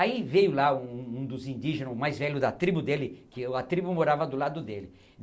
Aí veio lá um um um dos indígenas, o mais velho da tribo dele, que a tribo morava do lado dele.